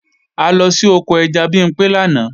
A lọ sí oko ẹja Bimpé lánàá